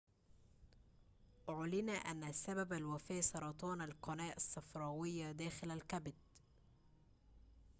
أعلن أن سبب الوفاة سرطان القناة الصفراوية داخل الكبد